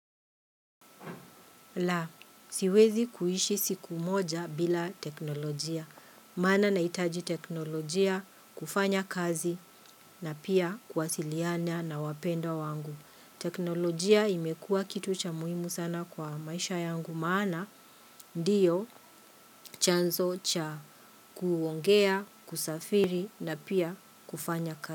La, siwezi kuishi siku moja bila teknolojia. Maana nahitaji teknolojia kufanya kazi na pia kuwasiliana na wapendwa wangu. Teknolojia imekuwa kitu cha muhimu sana kwa maisha yangu. Maana, ndiyo chanzo cha kuongea, kusafiri na pia kufanya kazi.